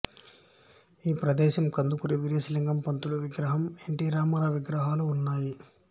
ఈ ప్రదేశం కందుకూరి వీరేశలింగం పంతులు విగ్రహం ఎన్ టి రామారావు విగ్రహాలు ఉన్నాయి